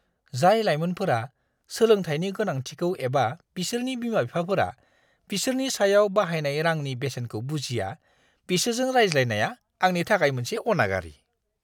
जाय लायमोनफोरा सोलोंथायनि गोनांथिखौ एबा बिसोरनि बिमा-बिफाफोरा बिसोरनि सायाव बाहायनाय रांनि बेसेनखौ बुजिया, बिसोरजों रायज्लायनाया आंनि थाखाय मोनसे अनागारि!